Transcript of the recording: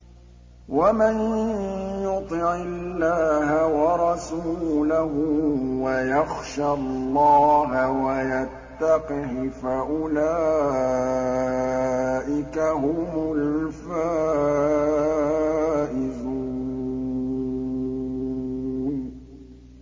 وَمَن يُطِعِ اللَّهَ وَرَسُولَهُ وَيَخْشَ اللَّهَ وَيَتَّقْهِ فَأُولَٰئِكَ هُمُ الْفَائِزُونَ